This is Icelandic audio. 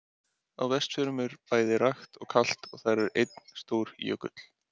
Á Vestfjörðum er bæði rakt og kalt og þar er einn stór jökull.